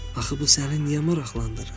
Axı bu səni niyə maraqlandırır?